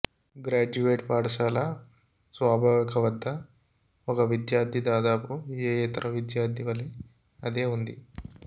graduate పాఠశాల స్వాభావిక వద్ద ఒక విద్యార్థి దాదాపు ఏ ఇతర విద్యార్థి వలె అదే ఉంది